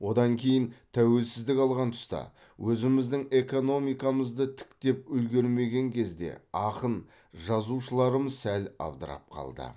одан кейін тәуелсіздік алған тұста өзіміздің экономикамызды тіктеп үлгермеген кезде ақын жазушыларымыз сәл абдырап қалды